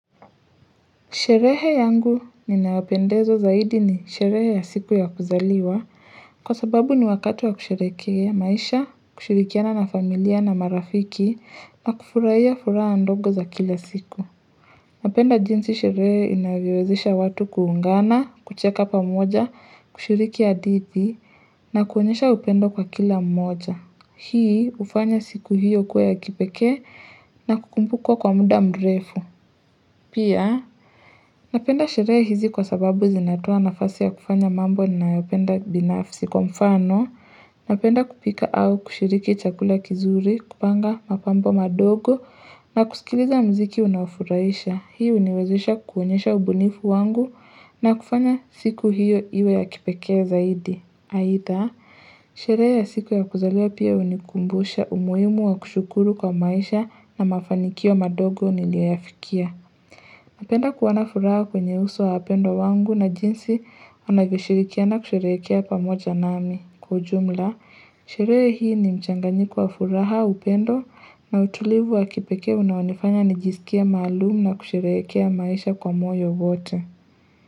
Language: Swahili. Sherehe yangu ninawapendeza zaidi ni sherehe ya siku ya kuzaliwa. Kwa sababu ni wakati wa kusherekea, maisha, kushirikiana na familia na marafiki na kufuraiya fura andogo za kila siku. Napenda jinsi sherehe inavyowezesha watu kuungana, kucheka pamoja, kushiriki hadithi na kuonyesha upendo kwa kila mmoja. Hii ufanya siku hiyo kuwa ya kipeke na kukumbukwa kwa muda mrefu. Pia, napenda sheree hizi kwa sababu zinatoa nafasi ya kufanya mambo na yopenda binafsi kwa mfano, napenda kupika au kushiriki chakula kizuri, kupanga mapambo madogo, na kusikiliza mziki unaofuraisha, hii uniwezesha kuonyesha ubunifu wangu, na kufanya siku hiyo iwe ya kipekee zaidi. Haitha, sherehe ya siku ya kuzaliwa pia unikumbusha umuhimu wa kushukuru kwa maisha na mafanikio madogo niliyoyafikia. Napenda kuona furaha kwenye uso wa wapendwa wangu na jinsi unavyoshirikia na kusherekea pamoja nami kwa ujumla. Sherehe hii ni mchanganiko wa furaha, upendo na utulivu wa kipeke unaonifanya nijisikie maalum na kusherehekea maisha kwa moyo wote.